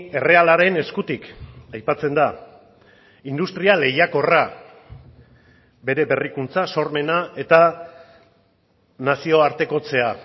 errealaren eskutik aipatzen da industria lehiakorra bere berrikuntza sormena eta nazioartekotzea